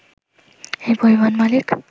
এই পরিবহন মালিক